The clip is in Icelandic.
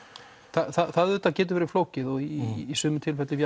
það auðvitað getur verið flókið og í sumum tilfellum